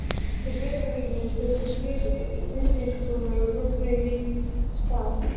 Í Breiðholtinu fuku þrír vinnuskúrar og brotnuðu í spað.